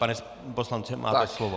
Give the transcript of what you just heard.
Pane poslanče, máte slovo.